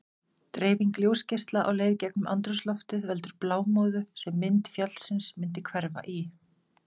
Dreifing ljósgeisla á leið gegnum andrúmsloftið veldur blámóðu, sem mynd fjallsins myndi hverfa í.